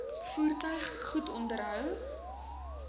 voertuig goed onderhou